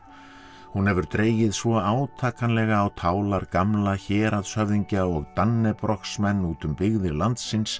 hún hefur dregið svo átakanlega á tálar gamla héraðshöfðingja og út um byggðir landsins